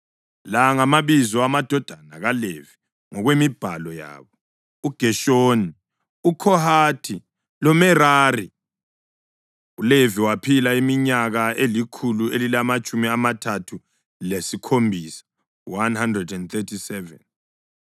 La ngamabizo amadodana kaLevi ngokwemibhalo yabo: uGeshoni, uKhohathi loMerari. ULevi waphila iminyaka elikhulu elilamatshumi amathathu lesikhombisa (137).